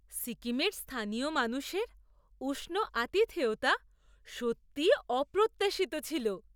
সিকিমের স্থানীয় মানুষের উষ্ণ আতিথেয়তা সত্যিই অপ্রত্যাশিত ছিল!